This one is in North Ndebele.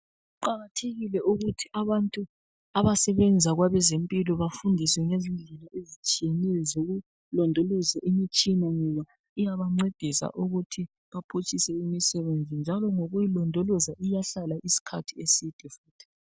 Kuqakathekile ukuthi abantu abasebenza kwabezempilo bafundiswe ngendlela ezitshiyeneyo zokulondoloza imitshina ngoba iyabancedisa ukuthi iphutshise imisebenzi njalo ngokuyilondoloza iyahlala isikhathi eside.